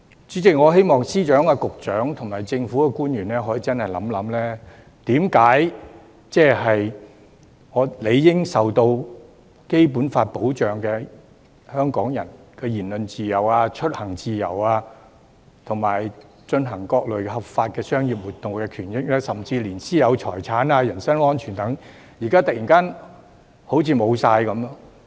主席，我希望司長、局長及政府官員可以認真地想一想，為何理應受《基本法》保障，香港人的言論自由、出行自由和進行各類合法商業活動的權益，甚至連其私有財產和人身安全等保障，現時都好像突然喪失了？